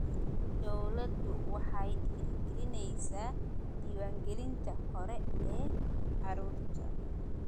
Dawladdu waxay dhiirigelinaysaa diiwaangelinta hore ee carruurta.